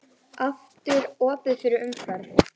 Aftur opið fyrir umferð